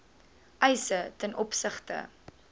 eise ten opsigte